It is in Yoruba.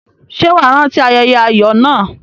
Ṣé wà á rántí ayẹyẹ ayọ̀ náà?